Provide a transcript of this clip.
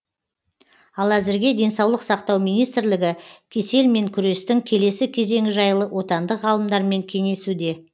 ал әзірге денсаулық сақтау министрлігі кеселмен күрестің келесі кезеңі жайлы отандық ғалымдармен кеңесуде